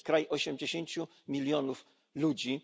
To jest kraj 80 milionów ludzi.